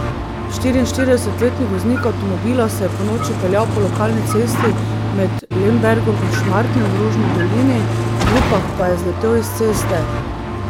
Štiriinštiridesetletni voznik avtomobila se je ponoči peljal po lokalni cesti med Lembergom in Šmartnem v Rožni dolini, v Rupah pa je zletel s ceste.